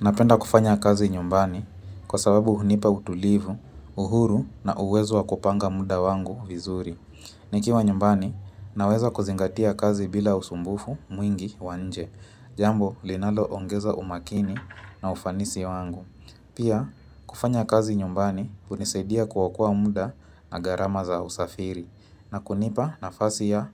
Napenda kufanya kazi nyumbani kwa sababu hunipa utulivu, uhuru na uwezo kupanga muda wangu vizuri. Nikiwa nyumbani, naweza kuzingatia kazi bila usumbufu mwingi wa nje, jambo linaloongeza umakini na ufanisi wangu. Pia, kufanya kazi nyumbani hunisaidia kuokoa muda na gharama za usafiri na kunipa nafasi ya